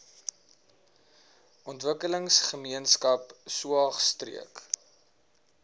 ontwikkelingsgemeenskap saog streek